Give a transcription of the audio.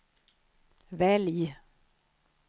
välj